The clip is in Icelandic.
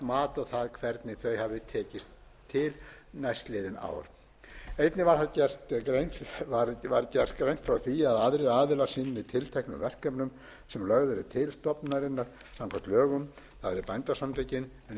mat á það hvernig þau hafi tekist til næstliðin ár einnig var greint frá því að aðrir aðilar sinni tilteknum verkefnum sem lögð eru til stofnunarinnar samkvæmt lögum það er bændasamtökin en um það var gerður